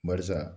Barisa